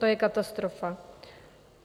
To je katastrofa.